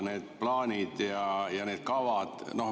Need plaanid ja kavad ...